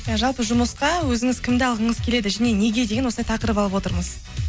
иә жалпы жұмысқа өзіңіз кімді алғыңыз келеді және неге деген осындай тақырып алып отырмыз